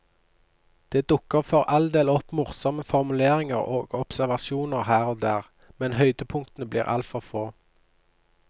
Det dukker for all del opp morsomme formuleringer og observasjoner her og der, men høydepunktene blir altfor få.